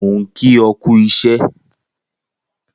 Mo n ki ọ kú iṣẹ